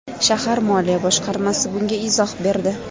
Shahar moliya boshqarmasi bunga izoh berdi.